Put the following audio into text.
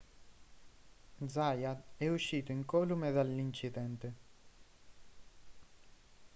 zayat è uscito incolume dall'incidente